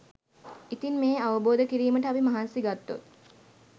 ඉතින් මේ අවබෝධ කිරීමට අපි මහන්සි ගත්තොත්